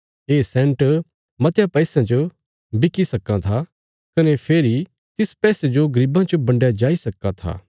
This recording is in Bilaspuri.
ये सैन्ट मतयां पैसयां च बिकी सक्कां था कने फेरी तिस पैसे जो गरीबां च बंडया जाई सक्कां था